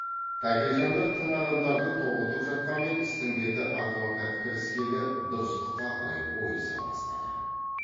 тәкежандар тың адамдарды тоғытып жатқанмен істің беті адвокат кіріскелі дұрыстыққа қарай ойыса бастады